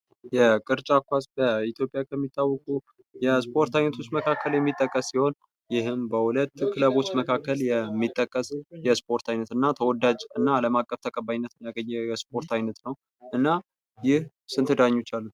የቅርጫት ኳስ በኢትዮጲያ ከሚታወቁ የስፖርት አይነቶች መካከል የሚጠቀስ ሲሆን ይህም በሁለት ክለቦች መካከል የሚጠቀስ የስፖርት ዓይነት እና ተወዳጅ እና አለም አቀፍ ተቀባይነት ያገኘ የስፖርት ዓይነት ነው። እና ይህ ስንት ዳኞች አሉት?